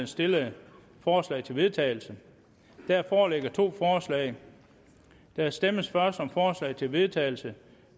stillede forslag til vedtagelse der foreligger to forslag der stemmes først om forslag til vedtagelse